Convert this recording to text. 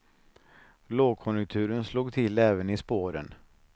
Lågkonjunturen slog till även i spåren.